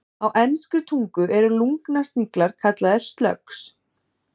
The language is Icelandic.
Á enskri tungu eru lungnasniglar kallaðir slugs.